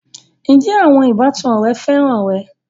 Ǹjẹ́ àwọn ìbátan rẹ féràn rẹ?